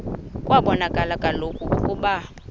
kwabonakala kaloku ukuba